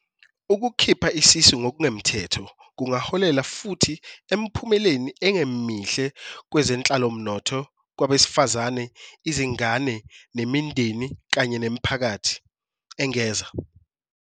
"Ukukhipha isisu ngokungemthetho kungaholela futhi emiphumeleni engemihle kwezenhlalomnotho kwabesifazane, izingane, imindeni kanye nemiphakathi," engeza."